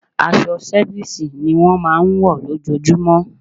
Aṣọ sẹfísì ni wọ́n máa ń wọ̀ lójojúmọ́.